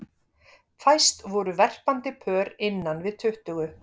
Fæst voru verpandi pör innan við tuttugu.